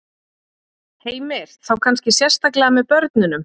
Heimir: Þá kannski sérstaklega með börnunum?